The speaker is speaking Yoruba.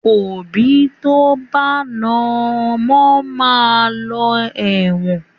Òbí tó bá na ọmọ máa lọ ẹ̀wọ̀n.